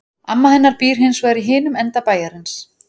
Amma hennar býr hins vegar í hinum enda bæjarins.